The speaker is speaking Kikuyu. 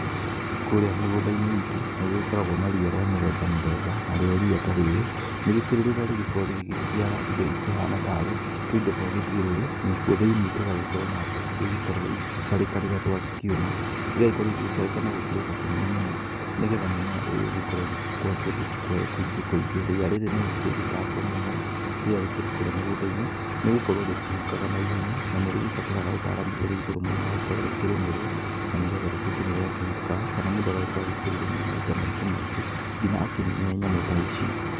Kũrĩa mĩgũnda-inĩ itũ nĩgũgĩkoragwo na ria rĩa mĩthemba mĩthemba, narĩo ria ta rĩrĩ nĩ gũkũrĩ rĩrĩa rĩgĩkoragwo rĩgĩgĩciara indo ikĩhana tarĩ tũindo twa gĩthiũrũrĩ, nakuo thĩinĩ kũgagĩkorwo na mbegũ iria igĩkoragwo igĩgĩcarĩka rĩrĩa twa gĩkĩũma, igagĩkorwo igĩgĩcarĩka na kũnene mũno, nĩgetha mũmera ũyũ ũgĩkorwo ũgĩkũra kũndũ kũingĩ kũingĩ. Ria rĩrĩ nĩ rĩkĩrĩ gĩtango mũno rĩrĩa rĩkĩrĩ kũrĩa mĩgũnda-inĩ, nĩ gũkorwo rĩtikĩhukaga naihenya, na nĩ rĩgĩbataraga ũtaaramu urĩ igũrũ mũno wa gũkorwa rĩkĩrĩmĩrwo, na nĩgetha rĩtuĩke nĩ rĩa kĩhuka, kana mũndũ agagĩkorwo agĩkĩrĩrĩmĩra maita maingĩ maingĩ, nginya akĩnine nyamũ ta ici.